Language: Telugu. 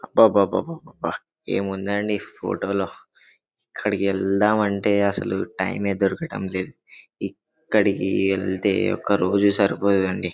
అబ్బబ్బబ్బబ్బబ్బబ ఏముందండి ఈ ఫోటో లో ఇక్కడికి ఎల్దమ్ అంటే అసలు టైమే దొరకడం లేదు ఇక్కడికి వెళ్తే ఒక రోజు సరిపోదండి.